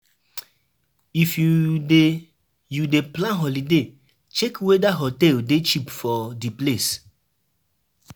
If you dey you dey plan holiday check weda hotel dey cheap for di place